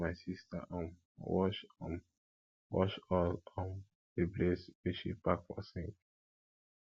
i don help my sista um wash um wash all um di plates wey she pack for sink